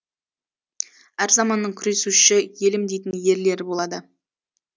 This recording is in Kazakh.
әр заманның күресуші елім дейтін ерлері болады